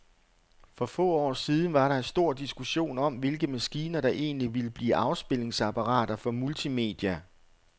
For få år siden var der stor diskussion om, hvilke maskiner, der egentlig ville blive afspilningsapparater for multimedia.